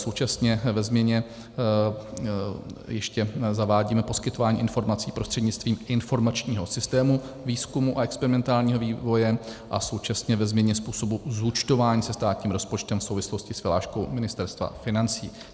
Současně ve změně ještě zavádíme poskytování informací prostřednictvím informačního systému výzkumu a experimentálního vývoje a současně ve změně způsobu zúčtování se státním rozpočtem v souvislosti s vyhláškou Ministerstva financí.